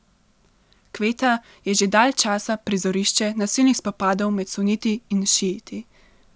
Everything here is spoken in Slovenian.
Kveta je že dalj časa prizorišče nasilnih spopadov med suniti in šiiti.